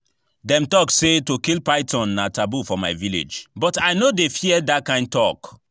Dem talk say to kill python na taboo for my village but I no dey fear dat kyn talk